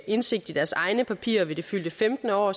indsigt i deres egne papirer ved det fyldte femtende år